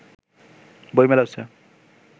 বই মেলা হচ্ছে